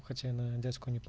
хотя на дядьку непло